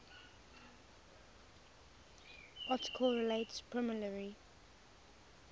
article relates primarily